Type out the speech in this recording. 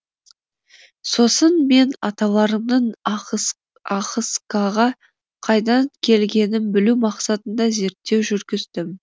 сосын мен аталарымның ахыскаға қайдан келгенін білу мақсатында зерттеу жүргіздім